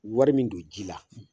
Wari min don ji la